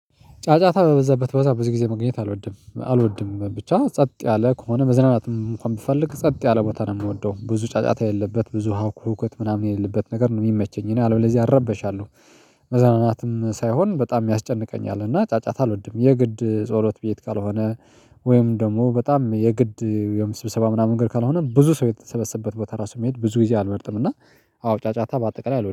ጫጫታ በበዛበት በዛ በዚህ ጊዜ መገኘት አልወድም አልወድም ብቻ ጸጥ ያለ ከሆነ መዝናናትም እንኳን ብፈልግ ጸጥ ያለ ቦታ ነው የምወደው ብዙ ጫጫታ የለበት ብዙ ሁኮት ምናምን የሌለበት ነገር ነው የሚመቸኝ እኔ አለበለዚያ አረበሻለሁ። መዝናናት ሳይሆን በጣም ያስጨንቀኛል እና ጫጫታ አልወድም የግድ ጸሎት ቤት ካልሆነ። ወይም ደግሞ በጣም የግድ የምስብሰባ ምናምን እንግድ ካልሆነ ብዙ ሰው የተሰበሰበት ቦታ ራሱ መሄድ ብዙ ይጊዜ አልመርጥም። እና አዎ ጫጫታ በአጠቃላይ አልወድም